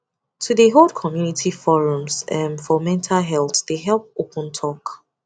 to de hold community forums um for mental health de help open talk